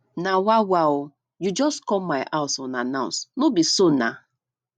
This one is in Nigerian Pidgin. na wa wa o you just come my house unannounced no be so nah